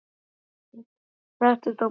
Settist á brunninn hjá englinum og beið eftir